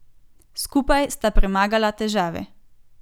Skupaj sta premagala težave.